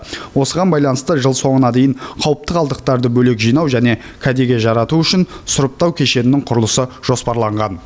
осыған байланысты жыл соңына дейін қауіпті қалдықтарды бөлек жинау және кәдеге жарату үшін сұрыптау кешенінің құрылысы жоспарланған